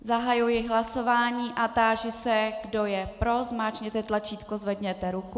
Zahajuji hlasování a táži se, kdo je pro, zmáčkněte tlačítko, zvedněte ruku.